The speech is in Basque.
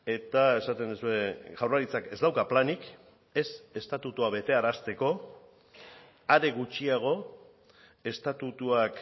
eta esaten duzue jaurlaritzak ez dauka planik ez estatutua betearazteko are gutxiago estatutuak